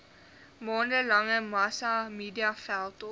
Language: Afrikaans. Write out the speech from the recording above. maande lange massamediaveldtog